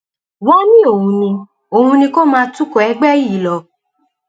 wọn ní òun ní òun ni kó máa tukọ ẹgbẹ yìí lọ